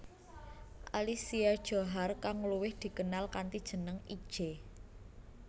Alicia Djohar kang luwih dikenal kanthi jeneng Itje